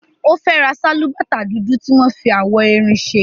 Ó fẹ́ ra sálúbàtà dúdú tí wọ́n fi awọ erin ṣe.